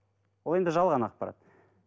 ол енді жалған ақпарат